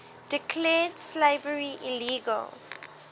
declared slavery illegal